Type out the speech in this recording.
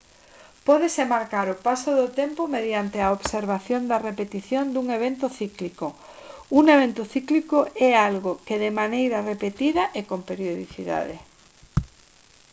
pódese marcar o paso do tempo mediante a observación da repetición dun evento cíclico un evento cíclico é algo que de maneira repetida e con periodicidade